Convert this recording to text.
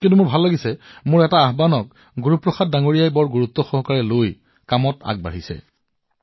কিন্ত মই ভাল পালো কিয়নো মোৰ এটা আহ্বান গুৰু প্ৰসাদজীয়ে যথেষ্ট আগ্ৰহেৰে আগুৱাই নিছে